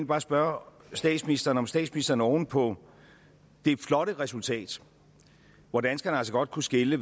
bare spørge statsministeren om statsministeren oven på det flotte resultat hvor danskerne altså godt kunne skelne